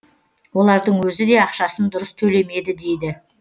олардың өзі де ақшасын дұрыс төлемеді дейді